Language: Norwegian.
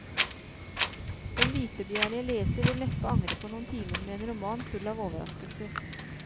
Den vitebegjærlige leser vil neppe angre på noen timer med en roman full av overraskelser.